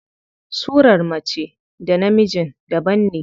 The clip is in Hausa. Surar mace da na mijin daban ne.